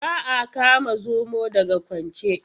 Ba a kama zomo daga kwance.